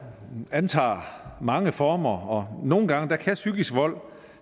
antager mange former og nogle gange kan psykisk vold